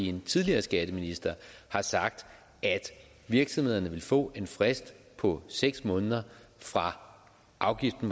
en tidligere skatteminister har sagt at virksomhederne vil få en frist på seks måneder fra afgiften